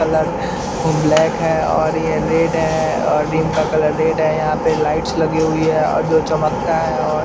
colour black है और ये रेड है और रिम का कलर रेड है यहां पे लाइट्स लगे हुई है और जो चमकता है और --